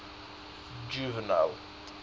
juvenal